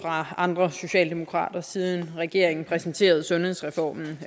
fra andre socialdemokrater siden regeringen præsenterede sundhedsreformen